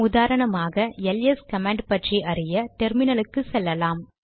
உதாரணமாக LS command பற்றி அறிய டெர்மினலுக்கு செல்லலாம்